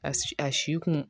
A a si kun